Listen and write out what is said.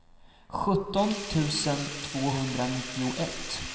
sjutton tusen tvåhundranittioett